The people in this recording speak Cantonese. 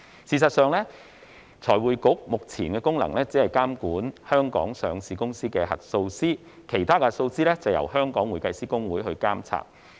事實上，財匯局目前的功能只是監管香港上市公司的核數師，其他核數師則由香港會計師公會監察。